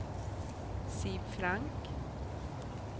Siv Frank